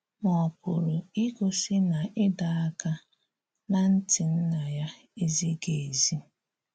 Ma ọ̀ pụrụ igosi na ịdọ̀ àka ná ntị Nna ya ezighị̀ ezi?